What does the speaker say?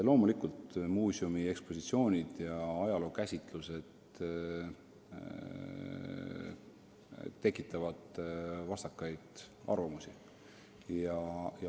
Loomulikult tekitavad muuseumi ekspositsioonid ja ajalookäsitused vastakaid arvamusi.